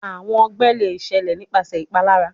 Awọn ọgbẹ le ṣẹlẹ nipasẹ ipalara